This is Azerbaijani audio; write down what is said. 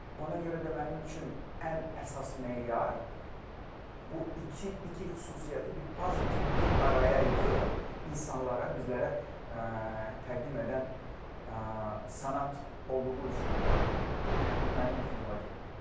Ona görə də mənim üçün ən əsas meyar bu iki xüsusiyyəti bir pazl kimi bir araya yığıb insanlara, bizlərə təqdim edən sənət olduğu üçün mənimlə finala gedib.